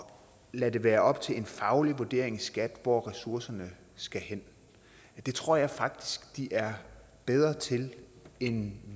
lader det være op til en faglig vurdering i skat hvor ressourcerne skal hen det tror jeg faktisk de er bedre til end